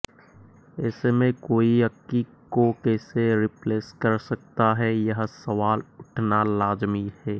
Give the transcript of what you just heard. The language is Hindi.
ऐसे में कोई अक्की को कैसे रिप्लेस कर सकता है यह सवाल उठना लाज़मी है